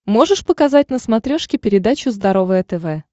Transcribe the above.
можешь показать на смотрешке передачу здоровое тв